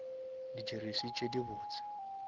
di jeresi tše di botse